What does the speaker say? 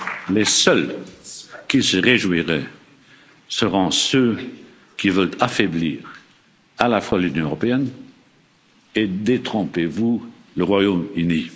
Les seuls qui se réjouiraient seront ceux qui veulent affaiblir à la fois l'Union européenne et, détrompez vous, le Royaume